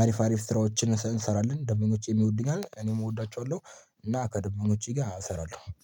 አሪፍ አሪፍ ስራዎችን እንሰራለን ደምበኞቼም ይወዱኛል እኔም እወዳቸዋለሁ። እና ከደምበኞቼ ጋር እሰራለሁ